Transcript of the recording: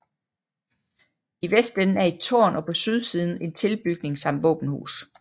I vestenden er et tårn og på sydsiden en tilbygning samt våbenhus